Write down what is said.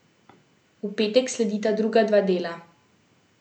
V petek sledita druga dva dela.